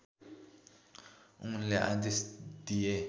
उनले आदेश दिए